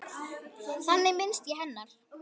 Þannig minnist ég hennar.